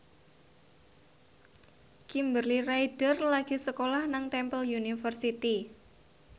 Kimberly Ryder lagi sekolah nang Temple University